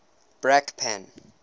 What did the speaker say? brakpan